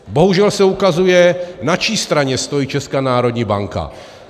Bohužel se ukazuje, na čí straně stojí Česká národní banka.